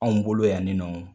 Anw bolo yanni nɔn